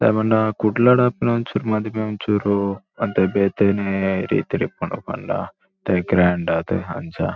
ದಾಯೆ ಪಂಡ ಕುಡ್ಲಡ್ ಆಪಿನ ಒಂಚೂರು ಮದಿಮೆ ಒಂಚೂರು ಒಂತೆ ಬೇತೆನೆ ರೀತಿಡ್ ಉಪ್ಪುಂಡು ಪಂಡ ಗ್ರಾಂಡ್ ಆದ್ ಅಂಚ.